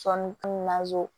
Sɔɔni